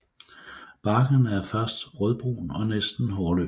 Barken er først rødbrun og næsten hårløs